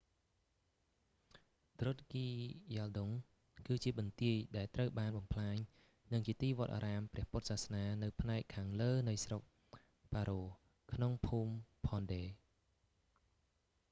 ឌ្រុគគីយ៉ាលដុង drukgyal dzong គឺជាបន្ទាយ ដែលត្រូវបានបំផ្លាញ និងជាទីវត្តអារាមព្រះពុទ្ធសាសនានៅផ្នែកខាងលើនៃស្រុកប៉ារ៉ូ paro ក្នុងភូមិផនឌេ phondey ។